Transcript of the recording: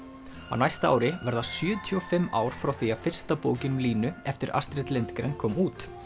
á næsta ári verða sjötíu og fimm ár frá því að fyrsta bókin um Línu eftir Astrid Lindgren kom út